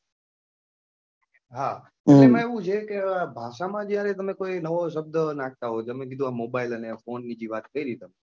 હા એંમાં એવું છે કે ભાષા માં જયારે તમે કોઈ નવો શબ્દ નાખતા હોય તમે કીધું કે આ mobile અને ફોન ની જે વાત કરી તમે,